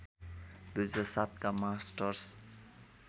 २००७ का मास्टर्स